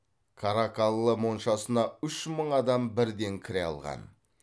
каракаллы моншасына үш мың адам бірден кіре алған